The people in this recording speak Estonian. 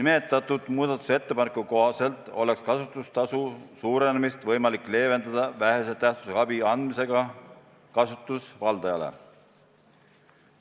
Selle muudatusettepaneku kohaselt oleks kasutustasu suurenemist võimalik leevendada vähese tähtsusega abi andmisega kasutusvaldajale.